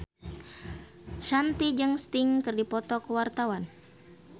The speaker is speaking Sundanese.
Shanti jeung Sting keur dipoto ku wartawan